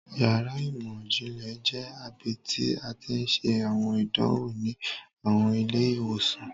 Yàrá imọ-jinlẹ jẹ ibiti a ti n ṣe awọn idanwo ni awọn ile-iwosan.